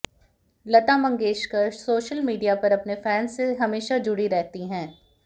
लता Mangeshkar social media पर अपने fans से हमेशा जुड़ी रहती हैं